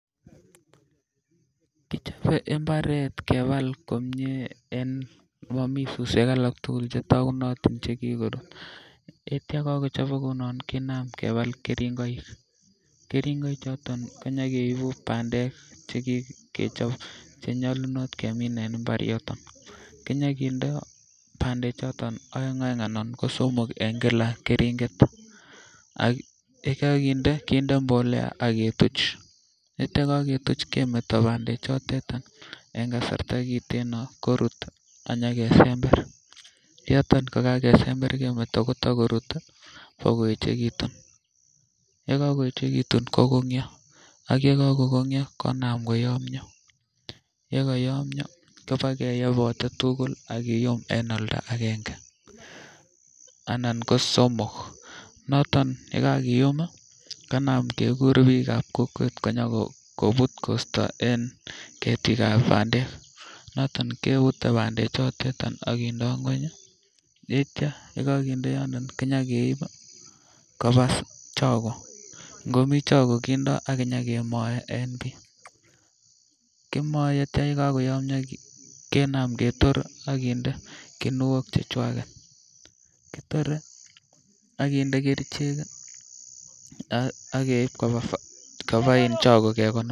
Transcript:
Kochobe imbaret kebal komie en momii suswek alak tukul chetokunotin chekikorut ak kityok kakochibok kounon kinam kebal keringoik, keringoik choton konyokeibu pandek chekikechob chenyolunot kemin en imbar yuton. Kenyo kinde pandek choton oeng oeng anan ko somok en Kila keringet ak yekokinde kinde mbolea ak ketuch ak ityo yekiketuch kemeto pandek chotet en kasarta kiteno korut amyokesember yoton ko kakesember kemeto Kobo korut boko yechekitun, yekokoyechekiyun kokonyok ak yekokonyor konam koyomyo yekoyomyo keno keyebotet tukul ak kiyum en oldagenge anan ko somok. Noton yekakiyumii kinam kekur bikab kokwet konyokonut kosto en kegikab pandek noton kepute pandek chotet ak kindo ngweny ak ityo yekokinde yoton kenyokeibi koba choko, nkomii choko kindo akinyokemoe en bii. Kiome ak ityo yekoyomyo kenam ketoret ak kinde kinwaok chechwaket, kitore an kinde kerichek kii ak keib koba choko kekonori.